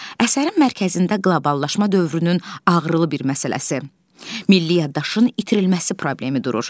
Əsərin mərkəzində qloballaşma dövrünün ağrılı bir məsələsi, milli yaddaşın itirilməsi problemi durur.